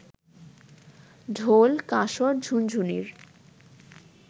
ঢোল, কাসর, ঝুনঝুনির